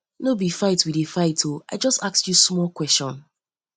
no be fight we dey fight oo i just ask you small question